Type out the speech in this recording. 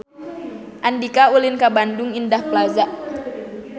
Andika ulin ka Bandung Indah Plaza